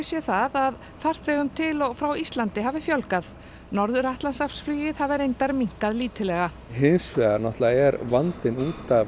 sé það að farþegum til og frá Íslandi hafa fjölgað norður hafi reyndar minnkað lítillega hins vegar er vandinn út af